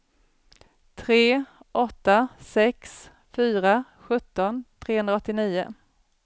tre åtta sex fyra sjutton trehundraåttionio